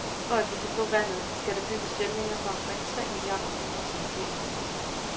For at vi kan få vandet, skal der bygges dæmninger for omkring tre milliarder kroner, som vi ikke har.